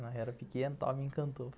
Ela era pequena, estava me encantou.